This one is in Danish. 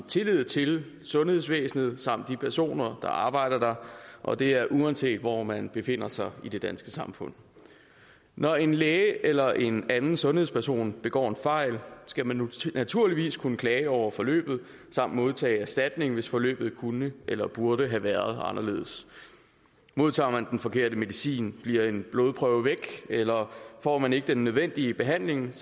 tillid til sundhedsvæsenet samt de personer der arbejder der og det er uanset hvor man befinder sig i det danske samfund når en læge eller en anden sundhedsperson begår en fejl skal man naturligvis kunne klage over forløbet samt modtage erstatning hvis forløbet kunne eller burde have været anderledes modtager man den forkerte medicin bliver en blodprøve væk eller får man ikke den nødvendige behandling